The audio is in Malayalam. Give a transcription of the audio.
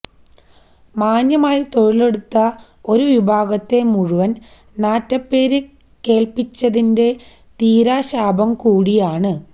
മാന്യമായി തൊഴിലെടുത്ത ഒരു വിഭാഗത്തെ മുഴുവൻ നാറ്റപേര് കേൾപ്പിച്ചതിന്റെ തീരാശാപം കൂടിയാണ്